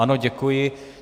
Ano, děkuji.